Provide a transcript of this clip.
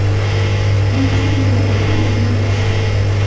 Bog‘cha xonalariga gilamlar to‘shaldi.